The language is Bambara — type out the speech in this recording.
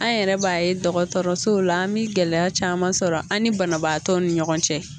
An yɛrɛ b'a ye dɔgɔtɔrɔsow la, an bi gɛlɛya caman sɔrɔ an ni banabaatɔw ni ɲɔgɔn cɛ!